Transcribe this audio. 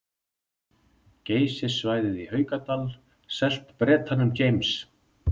Geysissvæðið í Haukadal selt Bretanum James